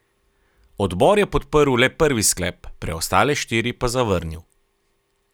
Odbor je podprl le prvi sklep, preostale štiri pa zavrnil.